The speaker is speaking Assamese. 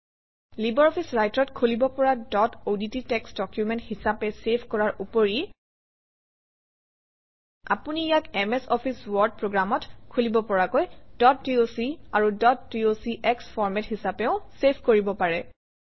লাইব্ৰঅফিছ Writer অত খুলিব পৰা ডট অডট টেক্সট ডকুমেণ্ট হিচাপে চেভ কৰাৰ উপৰি আপুনি ইয়াক এমএছ অফিছ ৱৰ্ড প্ৰগ্ৰামত খুলিব পৰাকৈ ডট ডক আৰু ডট ডক্স ফৰমেট হিচাপেও চেভ কৰিব পাৰে